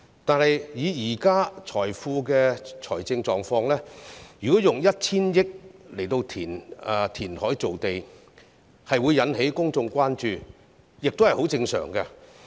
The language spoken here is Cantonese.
但是，以政府目前的財政狀況，如果用 1,000 億元填海造地，引起公眾關注也是十分正常的。